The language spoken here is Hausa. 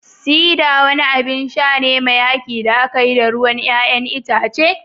Cider wani abin sha ne mai haki da aka yi da ruwan 'ya'yan itace